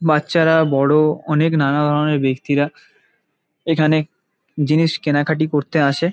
বাচ্চারা বড়ো অনেক নানা ধরণের ব্যক্তিরা এখানে জিনিস কেনা-কাটি করতে আসে ।